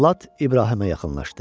Cəllad İbrahimə yaxınlaşdı.